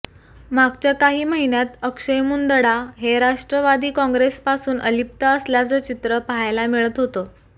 मागच्या काही महिन्यात अक्षय मुंदडा हे राष्ट्रवादी काँग्रेसपासून अलिप्त असल्याचं चित्र पाहायला मिळत होतं